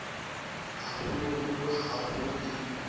ha holoholo ha ho e